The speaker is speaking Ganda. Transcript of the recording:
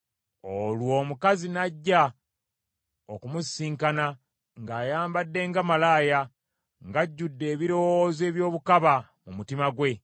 Awo omukazi n’ajja okumusisinkana ng’ayambadde nga malaaya, ng’ajjudde ebirowoozo eby’obukaba mu mutima gwe.